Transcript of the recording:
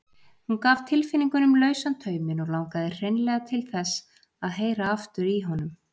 Hún gaf tilfinningunum lausan tauminn og langaði hreinlega til þess að heyra aftur í honum.